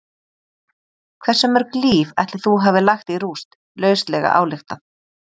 Hversu mörg líf ætli þú hafir lagt í rúst, lauslega ályktað?